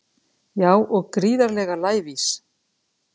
Já og gríðarlega lævís